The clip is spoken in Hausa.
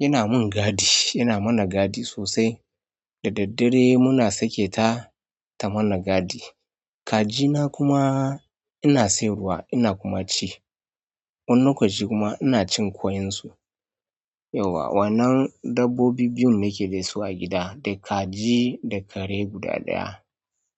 yana mun gadi, yana mana gadi sosai. Da daddare muna sake ta, ta mana gadi. Kaji na kuma ina sai ruwa ina kuma ci. Wani lokaci kuma ina cin ƙoyin su. Yau wa, wannan dabbobi biyun nake da su a gida, da kaji da kare guda ɗaya.